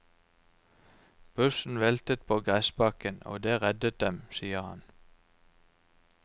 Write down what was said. Bussen veltet på gressbakken, og det reddet dem, sier han.